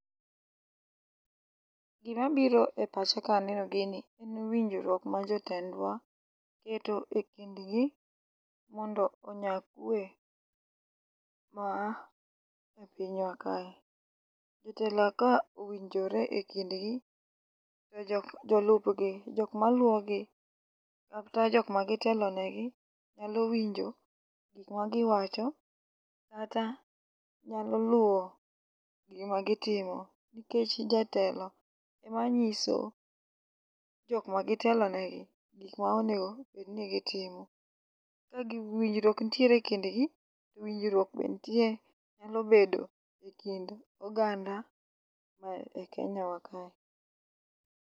Gima biro e pacha ka aneno gini en winjruok ma jotendwa keto e kindgi mondo onya kwe ma e pinywa kae. Jotelo ka owinjore e kindgi to jok jolupgi jok maluwo gi kata jok ma gitelonegi nyalo winjo gik ma giwacho kata nyalo luwo gima gitimo, nikech jatelo ema nyiso jok ma gitelonegi gik ma onego obed ni gitimo. Ka winjruok nitiere e kindgi, winjruok be nitie nyalo bedo e kind oganda ma e Kenya wa kae.